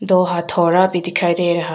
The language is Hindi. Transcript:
दो हथोड़ा भी दिखाई दे रहा--